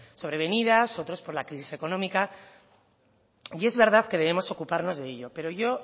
sobrevenidas otros por la crisis económica y es verdad que debemos ocuparnos de ello pero yo